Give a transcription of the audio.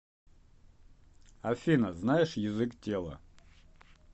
афина знаешь язык тела